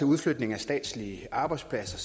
udflytning af statslige arbejdspladser